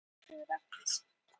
Björgheiður, lækkaðu í hátalaranum.